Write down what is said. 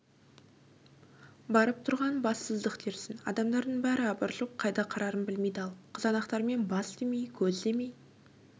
барып тұрған бассыздық дерсің адамдардың бәрі абыржып қайда қарарын білмей дал қызанақтармен бас демей көз демей